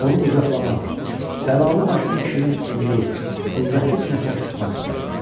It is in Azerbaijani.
Onu qucaqlamaq, bəlalə başını kişinin enli, qüvvətli sinəsinə sıxmaq istədi.